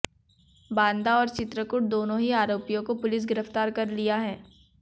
बांदा और चित्रकूट दोनों ही आरोपियों को पुलिस गिरफ्तार कर लिया है